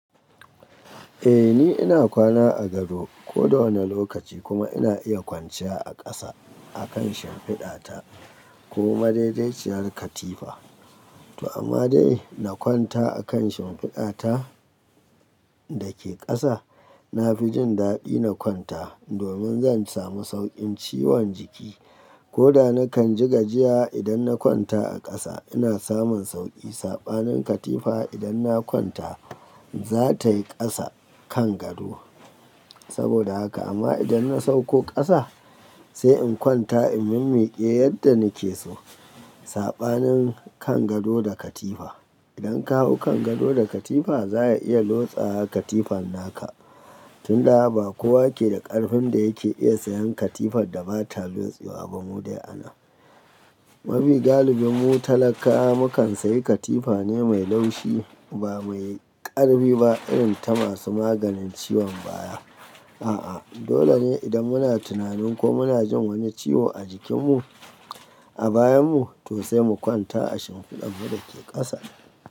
Eh ni ina kwana a gado ko da wane lokaci kuma ina iya kwanciya a ƙasa akan shimfiɗa ta ko madaidaiciyar katifa. To amma dai na kwanta akan shimfiɗa ta dake ƙasa, na fi jin daɗi na kwanta domin zan samu sauƙin ciwon jiki. Ko da nakan ji gajiya idan na kwanta a ƙasa ina samun sauƙi. Saɓanin katifa idan na kwanta za ta yi ƙasa kan gado. Saboda haka amma idan na sauko ƙasa sai in kwanta in mimmiƙe yadda nike so. Saɓanin kan gado da katifa. Idan ka hau kan gado da katifa za a iya lotsawa katifan naka. Tun daga ba kowa ke da ƙarfin da yake iya sayan katifar da bata lotsewa ba mu dai anan. Ma fi galibin mu talakawa mukan sayi katifa ne mai laushi ba mai ƙarfi ba irin ta masu maganin ciwon baya. A'a dole ne idan muna tunanin ko muna jin wani ciwo a jikin mu a bayan mu to sai mu kwanta a shimfiɗar mu dake ƙasa.